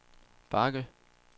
bakke